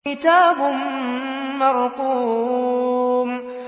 كِتَابٌ مَّرْقُومٌ